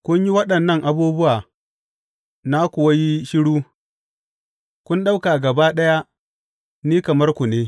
Kun yi waɗannan abubuwa na kuwa yi shiru; kun ɗauka gaba ɗaya ni kamar ku ne.